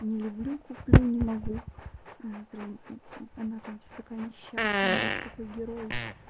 не люблю куплю не могу прям она там вся такая несчастная он весь такой герой